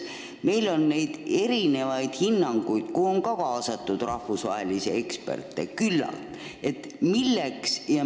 Meil on mitmesuguseid hindamisi, kuhu on kaasatud ka rahvusvaheliselt tuntud eksperte, küllalt olnud.